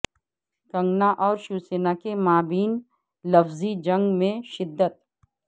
کنگنا اور شیوسینا کے مابین لفظی جنگ میں شدت